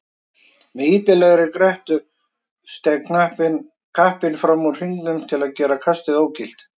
Með illilegri grettu steig kappinn fram úr hringnum til að gera kastið ógilt.